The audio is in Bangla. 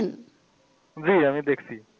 জি আমি দেকসি